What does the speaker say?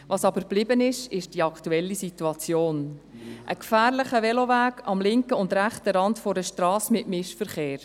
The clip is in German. Geblieben ist jedoch die aktuelle Situation: ein gefährlicher Veloweg am linken und rechten Rand einer Strasse mit Mischverkehr.